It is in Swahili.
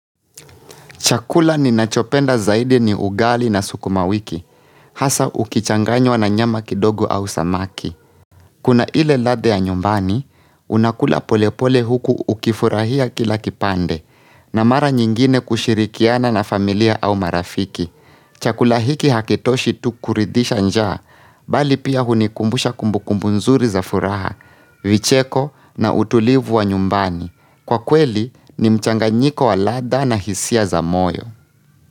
Chakula ninachopenda zaidi ni ugali na sukuma wiki, hasa ukichanganywa na nyama kidogo au samaki. Kuna ile ladhaa ya nyumbani, unakula polepole huku ukifurahia kila kipande, na mara nyingine kushirikiana na familia au marafiki. Chakula hiki hakitoshi tu kuridhisha njaa, bali pia hunikumbusha kumbukumbu nzuri za furaha, vicheko na utulivu wa nyumbani. Kwa kweli ni mchanganyiko wa ladha na hisia za moyo.